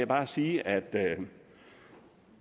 bare sige at